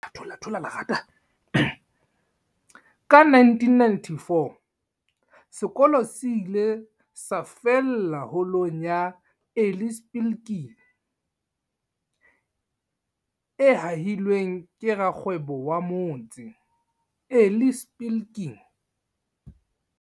Ka 1994, sekolo se ile sa fallela Holong ya Eli Spilkin, e hahilweng ke rakgwebo wa motse, Eli Spilkin.